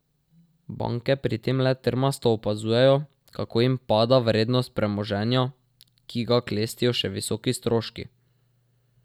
Banke pri tem le trmasto opazujejo, kako jim pada vrednost premoženja, ki ga klestijo še visoki stroški.